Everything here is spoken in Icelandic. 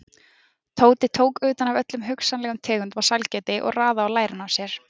Tóti tók utan af öllum hugsanlegum tegundum af sælgæti og raðaði á lærin á sér.